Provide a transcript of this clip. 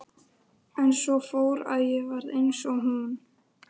En svo fór að ég varð eins og hún.